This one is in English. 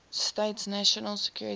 states national security